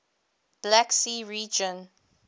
black sea region